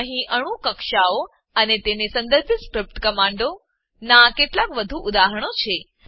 અહીં અણુ કક્ષાઓ અને તેને સંદર્ભિત સ્ક્રીપ્ટ કમાંડોનાં કેટલાક વધુ ઉદાહરણો છે